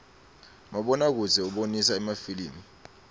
mabona kudze ubonisa emafilimu